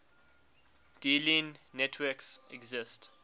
dealing networks exist